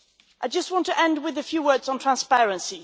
I just want to end with a few words on transparency.